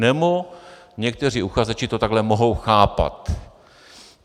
Nebo někteří uchazeči to takhle mohou chápat.